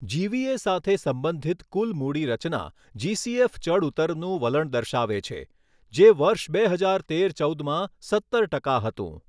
જીવીએ સાથે સંબંધિત કુલ મૂડી રચના જીસીએફ ચડઊતરનું વલણ દર્શાવે છે, જે વર્ષ બે હજાર તેર ચૌદમાં સત્તર ટકા હતું.